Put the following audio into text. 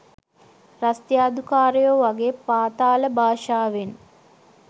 රස්තියාදුකාරයෝ වගේ පාතාල භාෂාවෙන්